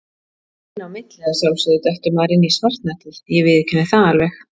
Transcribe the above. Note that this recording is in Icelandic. Inn á milli að sjálfsögðu dettur maður inn í svartnættið, ég viðurkenni það alveg.